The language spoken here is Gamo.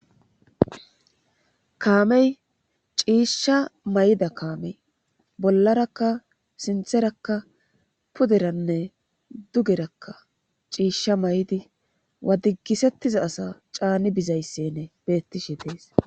Kaamey ciishsha may'ida kaamey bollarakka sintherakka puderanne dugerakka ciishsha may'di wadigisettiza asa caani bizayssenne bettishe dees